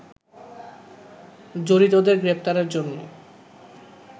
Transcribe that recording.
জড়িতদের গ্রেপ্তারের জন্য